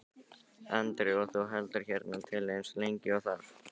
Andri: Og þú heldur hérna til eins lengi og þarf?